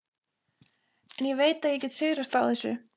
En ég veit að ég get sigrast á þessu.